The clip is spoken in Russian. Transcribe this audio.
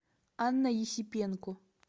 анна есипенко